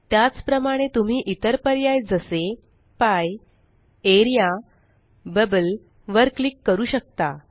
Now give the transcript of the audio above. त्याच प्रमाणे तुम्ही इतर पर्याय जसे पीईई एलटीपॉजेग्ट एआरईए एलटीपॉजेग्ट बबल एलटीपॉजेग्ट वर क्लिक करू शकता